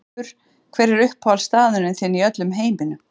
Garpur Hver er uppáhaldsstaðurinn þinn í öllum heiminum?